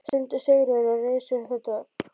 stundi Sigríður og reis upp við dogg.